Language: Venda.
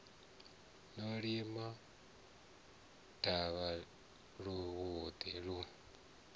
no lima davha luvhiḓi lu